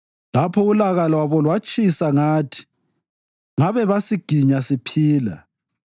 lapho ulaka lwabo lwalutshisa ngathi ngabe basiginya siphila;